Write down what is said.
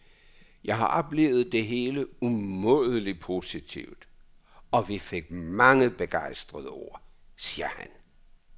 Jeg har oplevet det hele umådelig positivt, og vi fik mange begejstrede ord, siger han.